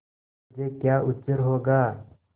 मुझे क्या उज्र होगा